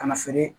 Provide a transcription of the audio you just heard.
Kana feere